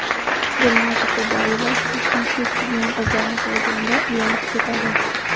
Dilnoza Kubayeva kalta yubka kiygan qizlarni ko‘rganida uyalib ketadi.